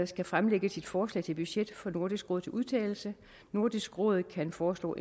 skal fremlægge sit forslag til budget for nordisk råd til udtalelse nordisk råd kan foreslå